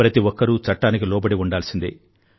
ప్రతి ఒక్కరూ చట్టానికి లోబడి ఉండాల్సిందే